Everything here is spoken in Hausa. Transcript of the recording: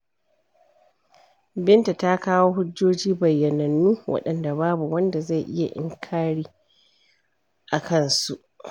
Binta ta kawo hujjoji bayyananu, waɗanda babu wanda zai yi inkari a kansu.